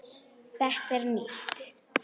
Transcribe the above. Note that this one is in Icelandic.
Þetta er nýtt!